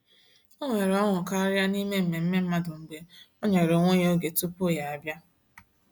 O nwere ọṅụ karịa n’ime mmemme mmadụ mgbe ọ nyere onwe ya oge tupu ya abịa.